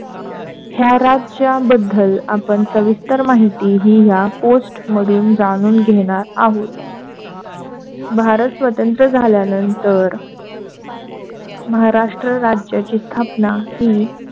या राज्याबद्दल सविस्तर माहिती या पोस्ट मधून जाणून घेणारआहोत. भारत स्वतंत्र झाल्यानंतर महाराष्ट्र राज्याची स्थापना हि,